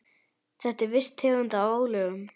Þetta er viss tegund af álögum.